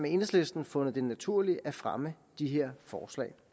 enhedslisten fundet det naturligt at fremme de her forslag